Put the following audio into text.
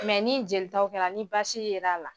ni jelitaw kɛra ni basi yer'a la